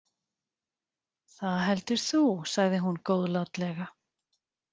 Það heldur þú, sagði hún góðlátlega.